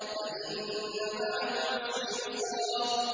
فَإِنَّ مَعَ الْعُسْرِ يُسْرًا